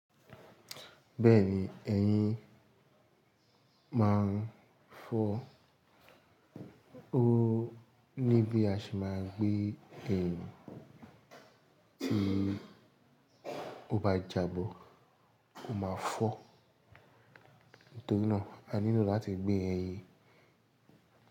Bẹ́ẹ̀ni ẹyin máa ń fọ́. O ní bí a ṣe máa gbé. Eyin tí ó bá jabọ́, ó máa fọ́. Nítorí náà a nílò láti gbé ẹyin.